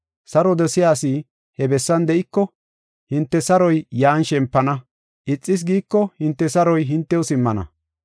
Saro dosiya asi he bessan de7iko, hinte saroy yan shempana; ixas giiko hinte saroy hintew simmana.